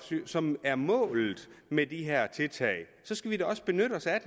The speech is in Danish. som er målet med de her tiltag så skal vi da også benytte os af